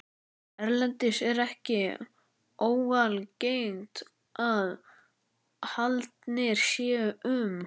Erlendis er ekki óalgengt að haldnir séu um